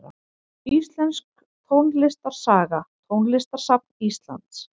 Íslensk tónlistarsaga Tónlistarsafn Íslands.